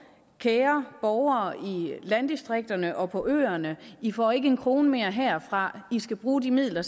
kære borgere i landdistrikterne og på øerne i får ikke en krone mere herfra i skal bruge de midler